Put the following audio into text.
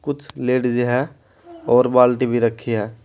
कुछ लेडीज़ है और बाल्टी भी रखी है।